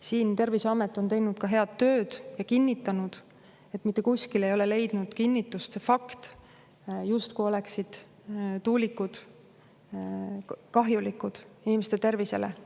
Siin on Terviseamet teinud head tööd ja kinnitanud, et mitte kuskil ei ole leidnud kinnitust see fakt, et tuulikud on kahjulikud inimeste tervisele.